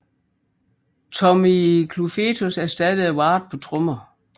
Tommy Clufetos ersattede Ward på trommer